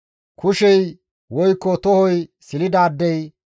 kushey woykko tohoy silidaadey,